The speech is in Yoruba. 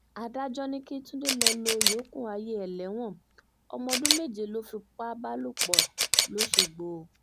adájọ́ ní kí túnde lọ́ọ́ lo ìyókù ayé ẹ̀ lẹ́wọ̀n ọmọ ọdún méje ló fipá bá lò pọ̀ lọ́sọ̀gbọ̀